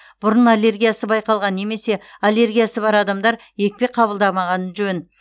бұрын аллергиясы байқалған немесе аллергиясы бар адамдар екпе қабылдамағаны жөн